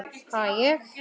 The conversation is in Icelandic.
Ha, ég?